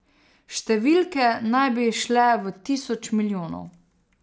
Številke naj bi šle v tisoč milijonov.